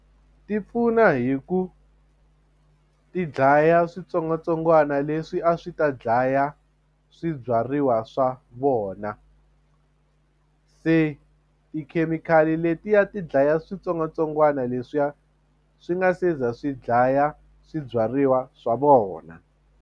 Ti pfuna hi ku ti dlaya switsongwatsongwana leswi a swi ta dlaya swibyariwa swa vona se tikhemikhali letiya ti dlaya switsongwatsongwana leswiya swi nga se za swi dlaya swibyariwa swa vona.